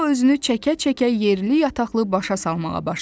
Qobo özünü çəkə-çəkə yerli-yataqlı başa salmağa başladı.